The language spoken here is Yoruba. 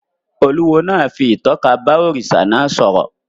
Olúwo náà fi ìtọ́ka bá òrìṣà náà sọ̀rọ̀